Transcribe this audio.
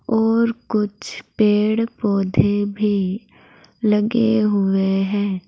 और कुछ पेड़ पौधे भी लगे हुए है।